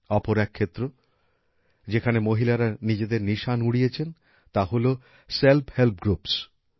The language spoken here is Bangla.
অপর এক ক্ষেত্র যেখানে মহিলারা নিজেদের নিশান উড়িয়েছেন তা হল সেল্ফ হেল্প গ্রুপস